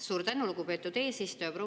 Suur tänu, lugupeetud eesistuja!